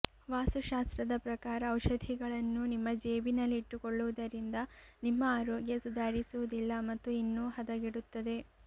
ವಾಸ್ತು ಶಾಸ್ತ್ರದ ಪ್ರಕಾರ ಔಷಧಿಗಳನ್ನು ನಿಮ್ಮ ಜೇಬಿನಲ್ಲಿ ಇಟ್ಟುಕೊಳ್ಳುವುದರಿಂದ ನಿಮ್ಮ ಅರೋಗ್ಯ ಸುಧಾರಿಸುವುದಿಲ್ಲ ಮತ್ತು ಇನ್ನೂ ಹದಗೆಡುತ್ತದೆ